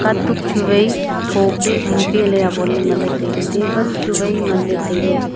katuk chu wai tho pe hing pe ley awonley nganley tailey table chu wai nganley tailey.